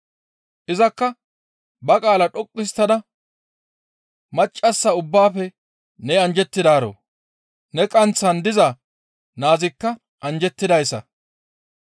Izakka ba qaala dhoqqu histtada, «Maccassa ubbaafe ne anjjettidaaro; Ne qanththan diza naazikka anjjettidayssa.